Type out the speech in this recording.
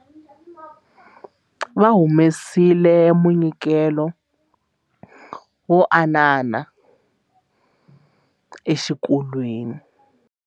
Va humesile munyikelo wo haanana exikolweni.